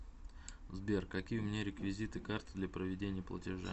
сбер какие у меня реквизиты карты для проведения платежа